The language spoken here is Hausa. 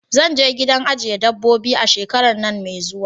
Zanje gidan ajiye dabbobi a shekaran nan mai zuwa